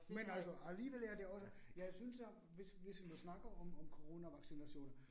Men altså alligevel er det også, jeg synes, at hvis hvis vi må snakke om om coronavaccinationer